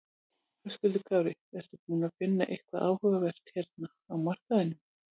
Höskuldur Kári: Ertu búinn að finna eitthvað áhugavert hérna á markaðnum?